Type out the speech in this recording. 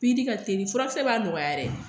Pikiri ka telin furakisɛ b'a nɔgɔya dɛ.